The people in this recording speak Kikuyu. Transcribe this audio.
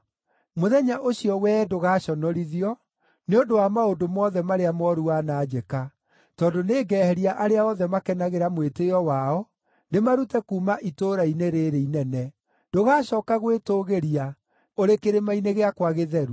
Mũthenya ũcio wee ndũgaconorithio nĩ ũndũ wa maũndũ mothe marĩa mooru wananjĩka, tondũ nĩngeheria arĩa othe makenagĩra mwĩtĩĩo wao, ndĩmarute kuuma itũũra-inĩ rĩĩrĩ inene. Ndũgacooka gwĩtũũgĩria ũrĩ kĩrĩma-inĩ gĩakwa gĩtheru.